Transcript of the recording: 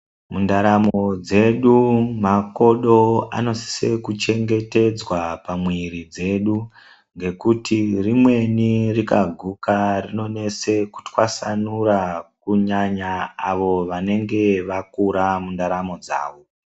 Mundaramo dzedu makodo anosisa kuchengetedzwa pamwiri dzedu ngekuti rimweni rikaguka rinonesa kutwasanura kunyanya avo vanenge vakura mundaramo dzawo.